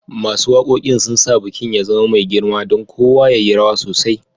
Masun wakokin sun sa bikin ya zama mai girma, dan kowa ya yi rawa sosai